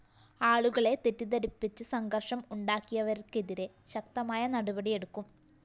ആളുകളെ തെറ്റിദ്ധരിപ്പിച്ച് സംഘര്‍ഷം ഉണ്ടാക്കിയവര്‍ക്കെതിരെ ശക്തമായ നടപടിയെടുക്കും